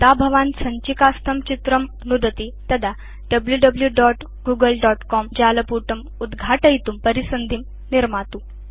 यदा भवान् सञ्चिकास्थं चित्रं नुदति तदा wwwgooglecomजालपुटम् उद्घाटयितुं परिसन्धिं निर्मातु